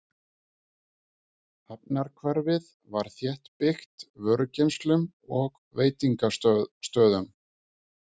Hafnarhverfið var þéttbyggt vörugeymslum og veitingastöðum.